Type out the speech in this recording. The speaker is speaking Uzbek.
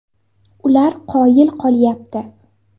Ular qoyil qolyapti.